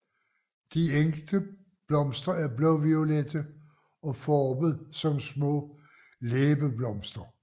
De enkelte blomster er blåviolette og formet som små læbeblomster